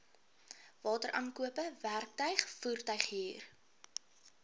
wateraankope werktuig voertuighuur